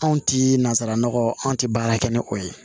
Anw ti nanzara nɔgɔ an tɛ baara kɛ ni o ye